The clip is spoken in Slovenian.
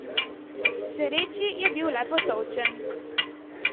K sreči je bil le potolčen.